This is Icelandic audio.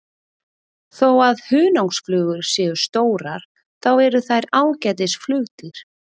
Þó að hunangsflugur séu stórar þá eru þær ágætis flugdýr.